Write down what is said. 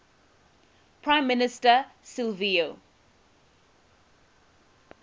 prime minister silvio